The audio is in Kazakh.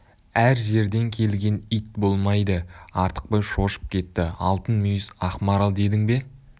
әр жерден келген ит болмайды артықбай шошып кетті алтын мүйіз ақ марал дедің бе